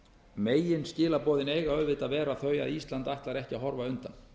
megin skilaboðin eiga auðvitað að vera þau að ísland ætlar ekki að horfa undan